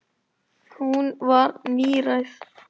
Hún var níræð.